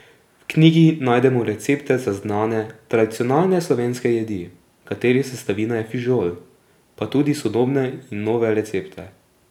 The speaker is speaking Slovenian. V knjigi najdemo recepte za znane, tradicionalne slovenske jedi, katerih sestavina je fižol, pa tudi sodobne in nove recepte.